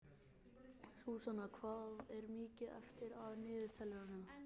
Súsanna, hvað er mikið eftir af niðurteljaranum?